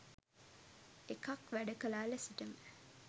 එකක් වැඩ කලා ලෙසටම